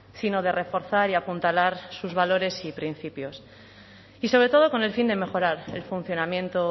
sino de reforzar y apuntalar sus valores y principios y sobre todo con el fin de mejorar el funcionamiento